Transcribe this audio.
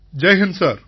Jai Hind sir